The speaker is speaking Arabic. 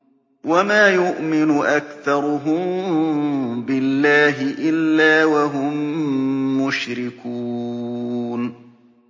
وَمَا يُؤْمِنُ أَكْثَرُهُم بِاللَّهِ إِلَّا وَهُم مُّشْرِكُونَ